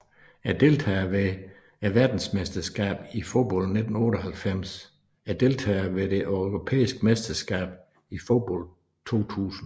Deltagere ved verdensmesterskabet i fodbold 1998 Deltagere ved det europæiske mesterskab i fodbold 2000